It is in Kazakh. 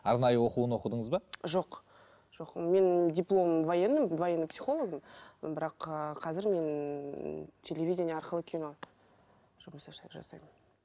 арнайы оқуын оқыдыңыз ба жоқ жоқ мен дипломым военныймын военный психологымын бірақ ы қазір мен телевидение арқылы кино жұмыс жасаймын